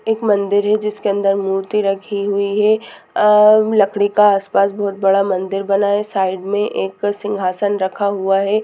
एक मन्दिर है जिसके अंदर मूर्ति रखी हुई है अ लकड़ी का आसपास बहुत बड़ा मंदिर बना हुआ है साईड मे एक बहुत बड़ा सिंहासन रखा हुआ है।